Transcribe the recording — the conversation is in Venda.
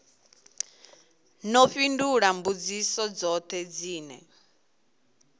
ḓo fhindula mbudziso dzoṱhe dzine